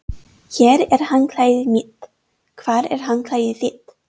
Hér er handklæðið mitt. Hvar er handklæðið þitt?